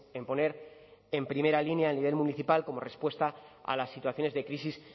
en poner en primera línea a nivel municipal como respuesta a las situaciones de crisis